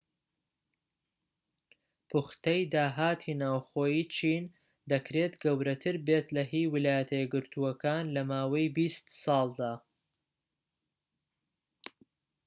پوختەی داهاتی ناوخۆیی چین دەکرێت گەورەتر بێت لە هی ویلایەتە یەکگرتوەکان لە ماوەی بیست ساڵدا